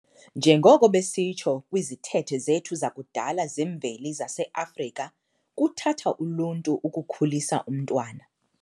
Njengoko besitsho kwizithethe zethu zakudala zemveli zase-Afrika "kuthatha uluntu ukukhulisa umntwana".